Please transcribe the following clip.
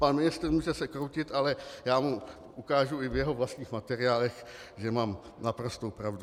Pan ministr se může kroutit, ale já mu ukážu i v jeho vlastních materiálech, že mám naprostou pravdu.